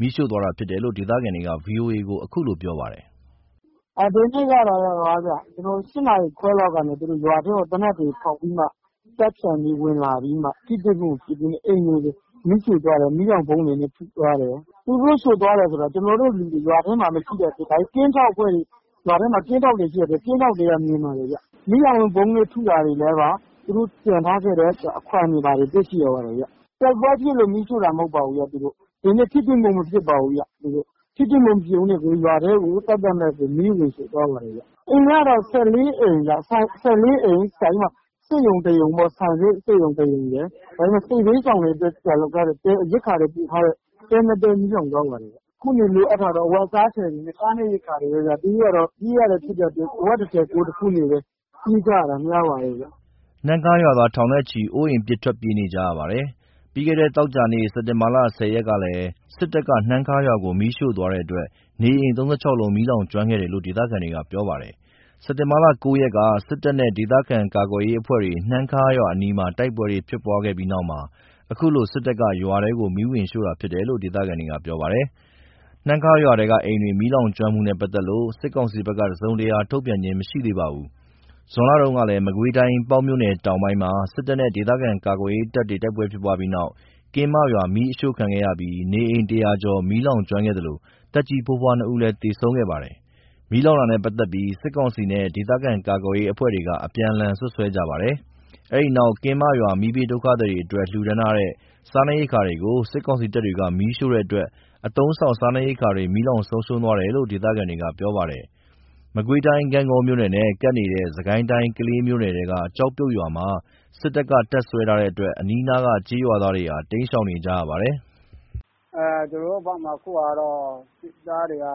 မီးရှို့သွားတာဖြစ်တယ်လို့ ဒေသခံ တဦးက ဗွီအိုအေကို အခုလိုပြောပါတယ်။ “ဒီနေ့ ၈ နာရီခွဲလောက်မှာ သူတို့တွေ ရွာထဲကို သေနတ်တွေဖောက်ပြီး တပ်ဖြန့်ပြီး ဝင်လာပြီး ထိတွေ့မှုမရှိဘဲ အိမ်တွေကိုမီးရှို့သွားတယ်။ သူတို့ရှို့သွားတယ်ဆိုတာ ကျွန်တော်တို့ လူတွေ ကင်းထောက်အဖွဲ့တွေရှိတဲ့ အတွက် ကင်းထောက်တွေက မြင်ပါတယ်ခင်ဗျ။ မီးလောင်ဗုံးနဲ့ထုထားခဲ့တဲ့အခွံ့တွေ သူတို့ကျန်ခဲ့တာတွေ တွေ့ရှိရတယ်။ တိုက်ပွဲဖြစ်လို့မီးရှို့တာမဟုတ်ဘူး။ ဒီနေ့ထိတွေ့မှု မဖြစ်ပါဘူး။ ထိတွေ့မှုမဖြစ်ဘဲနဲ့ကို ရွာထဲကို သက်သက်မဲ့ မီးဝင်ရှို့သွားတယ်။ အိမ်ကတော့ ၁၄ အိမ် စက်ရုံတရုံ ဆန်စက် စက်ရုံ ၁ ရုံရယ် စစ်ဘေးရှောင်တွေအတွက် ရိက္ခာတွေ ပို့ထားတဲ့ တဲ ၂ တဲ မီးလောင်သွားပါတယ်။ အခုနေလိုအပ်တာက အဝတ်အစားတွေနဲ့ စားနပ်ရိက္ခာတွေပဲဗျ။ ပြေးရတာဖြစ်တဲ့အတွက် အဝတ်တထည် ကိုယ်တခုနဲ့ပဲ ပြေးရတာ များပါတယ်။” နှမ်းခါးရွာသားထောင်နဲ့ချီ အိုးအိမ်ပစ် ထွက်ပြေးနေကြရပါတယ်။ ပြီးခဲ့တဲ့သောကြာနေ့ စက်တင်ဘာ ၁၀ ရက်ကလည်း စစ်တပ်က နှမ်းခါးရွာကို မီးရှို့သွားတဲ့အတွက် နေအိမ် ၃၆ လုံး မီးလောင်ကျွမ်းခဲ့တယ်လို့ ဒေသခံတွေက ပြောပါတယ်။ စက်တင်ဘာ ၉ ရက်က စစ်တပ်နဲ့ ဒေသခံ ကာကွယ်ရေးအဖွဲ့တွေ နှမ်းခါးရွာအနီးမှာ တိုက်ပွဲဖြစ်ပွားခဲ့ပြီးနောက်မှာ ခုလို စစ်တပ်က ရွာထဲဝင် မီးရှို့တာဖြစ်တယ်လို့ ဒေသခံတွေက ပြောပြပါတယ်။ နှမ်းခါရွာထဲကအိမ်တွေ မီးလောင်ကျွမ်းမှုနဲ့ပါတ်သက်လို့ စစ်ကောင်စီဘက်က တစုံတရာ ထုတ်ပြန်ခြင်းမရှိသေးပါဘူး။ ဇွန်လတုန်းကလည်း မကွေးတိုင်း ပေါက်မြို့နယ်တောင်ပိုင်းမှာ စစ်တပ်နဲ့ဒေသခံကာကွယ်ရေးတပ်တွေတိုက်ပွဲဖြစ်ခဲ့ပြီးနောက် ကင်းမရွာမီးရှို့ခံရပြီး နေအိမ် ၁၀၀ ကျော် မီးလောင်ကျွမ်းခဲ့သလို သက်ကြီးဖိုးဖွား ၂ ဦးလည်း သေဆုံးခဲ့ပါတယ်။ မီးလောင်တာနဲ့ ပတ်သက်ပြီး စစ်ကောင်စီနဲ့ ဒေသခံ ကာကွယ်ရေးအဖွဲ့တွေ အပြန်အလှန် စွပ်စွဲနေကြပါတယ်။ အဲ့ဒီနောက် ကင်းမရွာ မီးဘေးဒုက္ခသည်တွေ အတွက် လှူဒါန်းထားတဲ့ စားနပ်ရိက္ခာတွေကို စစ်ကောင်စီတပ်တွေ မီးရှို့တဲ့အတွက် အသုံးအဆောင် စားနပ်ရိက္ခာတွေ မီးလောင်ဆုံးရှုံးသွားတယ်လို့ ဒေသခံတွေကပြောပါတယ်။ မကွေးတိုင်း ဂန့်ဂေါမြို့နယ်နဲ့ ကပ်နေတဲ့ စစ်ကိုင်းတိုင်း ကလေးမြို့နယ်ထဲက ကျောက်ပြုတ်ရွာမှာ စစ်တပ်တွေ တပ်စွဲထားတဲ့အတွက် အနီးနားက ကျေးရွာသားတွေဟာ တိမ်းရှောင်နေကြရပါတယ်။ “ကျွန်တော်တို့ဘက်မှာ စစ်သားတွေက